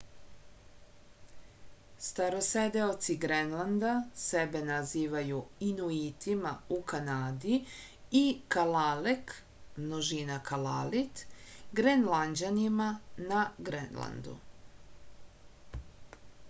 староседеоци гренланда себе називају инуитима у канади и калалек множина калалит гренланђанинима на гренланду